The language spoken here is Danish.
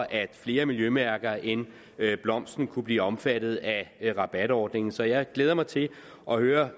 at flere miljømærker end blomsten kunne blive omfattet af rabatordningen så jeg glæder mig til at høre